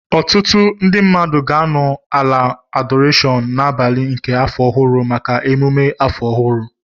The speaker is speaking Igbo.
Ọtụtụ ndị mmadụ ga-anọ ala adorashon n'abalị nke afọ ọhụrụ maka emume afọ ọhụrụ